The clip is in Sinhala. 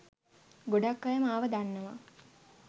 ගොඩක් අය මාව දන්නවා.